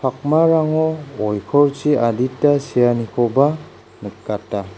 pakmarango oikorchi adita seanikoba nikata.